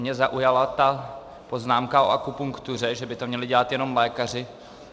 Mě zaujala ta poznámka o akupunktuře, že by to měli dělat jenom lékaři.